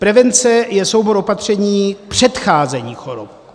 Prevence je soubor opatření předcházení chorob.